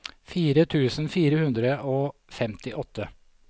fire tusen fire hundre og femtiåtte